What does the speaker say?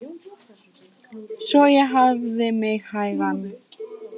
Svo ég hafði mig hægan.